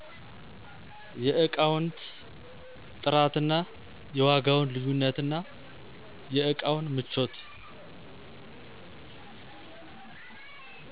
የዕቃውንት ጥራትና የዋጋውን ልዩነትናየእቃውን ምቾት